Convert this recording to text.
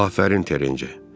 Afərin, Terenci!